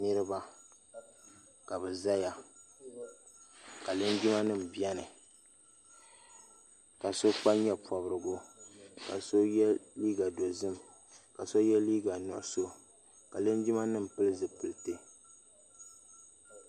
Niriba kabi zaya ka linjima nima bɛni ka ao kpa yew pɔbirigu ka so ye liiga dozim ka so ye liiga nuɣiso ka linjima nima pili zipoliti.